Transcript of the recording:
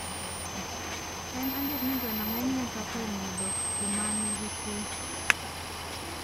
En adier ni gweno ng`eny ne toko e mudho kuma ni gi kwe.